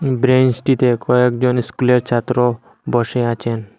ব্রেঞ্চটিতে কয়েকজন স্কুলের ছাত্র বসে আছেন।